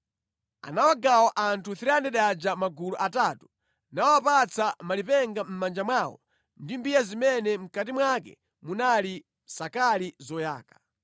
Anawagawa anthu 300 aja magulu atatu, nawapatsa malipenga mʼmanja mwawo ndi mbiya zimene mʼkati mwake munali nsakali zoyaka.